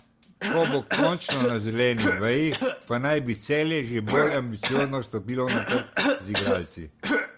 Ko bo končno na zeleni veji, pa naj bi Celje že bolj ambiciozno stopilo na trg z igralci.